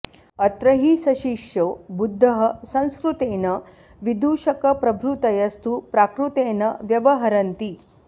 अत्र हि सशिष्यो बुद्धः संस्कृतेन विदूषकप्रभृतयस्तु प्राकृतेन व्यवहरन्ति